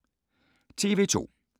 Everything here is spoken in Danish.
TV 2